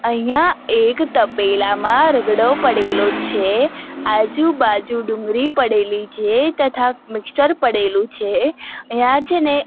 અહિયા એક તપેલામાં રગડો પડેલો છે આજુ-બાજુ ડુંગરી પડેલી છે તથા મિક્ષ્ચર પડેલુ છે અહિયા છેને --